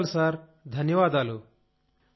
ధన్యవాదాలు సార్ ధన్యవాదాలు